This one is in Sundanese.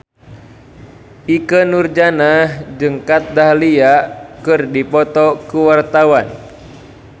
Ikke Nurjanah jeung Kat Dahlia keur dipoto ku wartawan